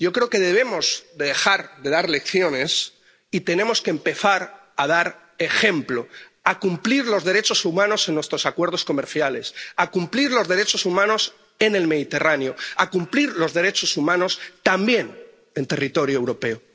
Yo creo que debemos de dejar de dar lecciones y tenemos que empezar a dar ejemplo, a cumplir los derechos humanos en nuestros acuerdos comerciales, a cumplir los derechos humanos en el Mediterráneo, a cumplir los derechos humanos también en territorio europeo.